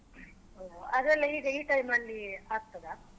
ಹೊ ಅದೆಲ್ಲ ಈಗ ಈ time ಅಲ್ಲಿ ಆಗ್ತದಾ?